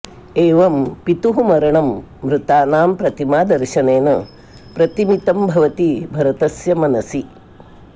एवं पितुः मरणं मृतानां प्रतिमादर्शनेन प्रतिमितं भवति भरतस्य मनसि